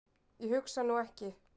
Ég hugsa nú ekki.